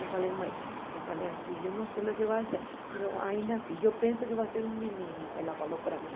Eu falei, mãe, eu falei assim, eu não sei o que vai ser, mas ainda assim, eu penso que vai ser um menino, ela falou para mim.